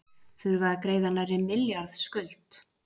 Þurfa að greiða nærri milljarðs skuld